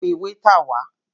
Pẹ wáítà wá!